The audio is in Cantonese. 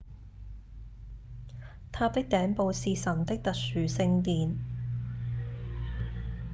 塔的頂部是神的特殊聖殿